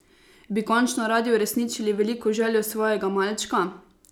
Bi končno radi uresničili veliko željo svojega malčka?